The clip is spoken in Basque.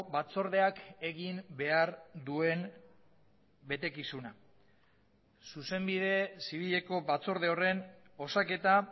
batzordeak egin behar duen betekizuna zuzenbide zibileko batzorde horren osaketa